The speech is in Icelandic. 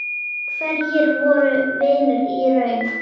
Hverjir voru vinir í raun?